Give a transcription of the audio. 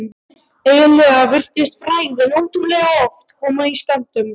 Eiginlega virtist frægðin ótrúlega oft koma í skömmtum.